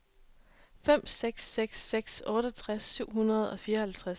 fem seks seks seks otteogtres syv hundrede og fireoghalvtreds